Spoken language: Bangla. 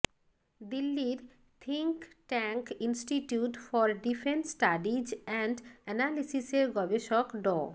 দিল্লির think tank institute for defence studies and অ্যানালিসিসের গবেষক ড